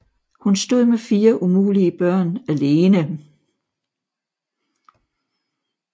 Hun stod med fire umulige børn ALENE